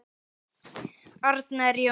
Arnar Jónsson